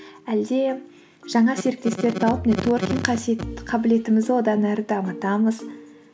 әлде жаңа серіктестер тауып нетворкинг қабілетімізді одан әрі дамытамыз